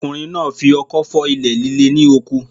Ọkùnrin náà fi ọkọ́ fọ́ ilẹ̀ líle ní oko.